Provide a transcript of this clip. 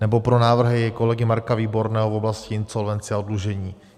Nebo pro návrhy kolegy Marka Výborného v oblasti insolvence a oddlužení.